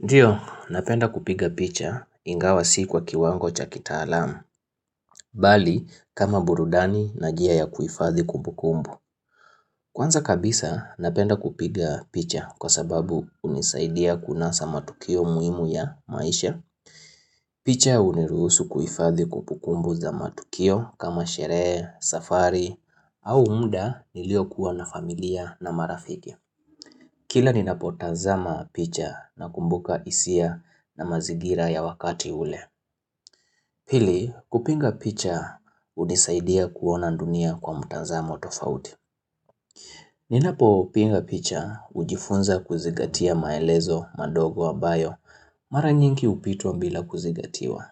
Ndiyo, napenda kupiga picha ingawa sii kwa kiwango chakita alamu, bali kama burudani na jia ya kuifadhi kumbukumbu. Kwanza kabisa, napenda kupiga picha kwa sababu unisaidia kunasa matukio muimu ya maisha. Picha uniruhusu kuifadhi kupukumbu za matukio kama sherehe, safari, au muda nilio kuwa na familia na marafiki. Kila ni napo tanzama picha na kumbuka isia na mazigira ya wakati ule. Pili kupinga picha unisaidia kuona dunia kwa mutanzamo tofauti. Ninapo upinga picha ujifunza kuzigatia maelezo madogo ambayo mara nyingi upitwa mbila kuzigatiwa.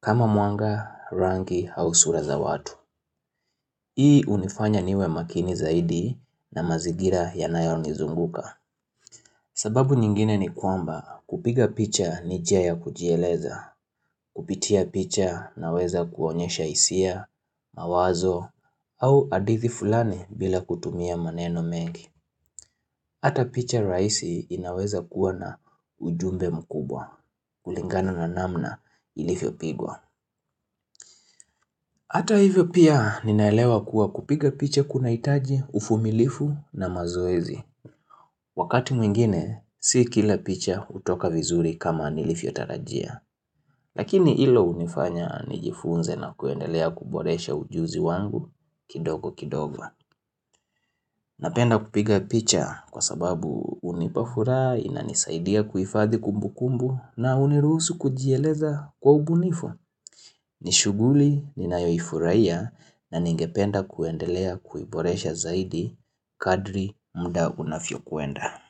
Kama mwanga, rangi, au sura za watu. Hii unifanya niwe makini zaidi na mazigira yanayoni zunguka. Sababu nyingine ni kwamba kupiga picha ni jia kujieleza, kupitia picha na weza kuonyesha isia, mawazo, au adithi fulani bila kutumia maneno mengi. Hata picha raisi inaweza kuwa na ujumbe mkubwa, kulingana na namna ilifio pigwa. Hata hivyo pia ninaelewa kuwa kupiga picha kuna itaji ufumilifu na mazoezi. Wakati mwingine, si kila picha utoka vizuri kama nilifiotarajia. Lakini ilo unifanya nijifunze na kuendelea kuboresha ujuzi wangu kidogo kidogo. Napenda kupiga picha kwa sababu unipafuraha, inanisaidia kuifadhi kumbu kumbu na uniruhusu kujieleza kwa ubunifu. Nishuguli ninaifurahia na ningependa kuendelea kuiboresha zaidi kadri mda unafyo kuenda.